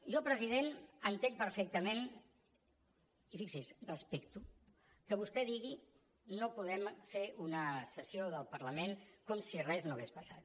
jo president entenc perfectament i fixi’s respecto que vostè digui no podem fer una sessió del parlament com si res no hagués passat